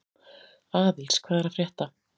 Aðils, hvað er að frétta?